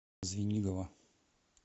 звенигово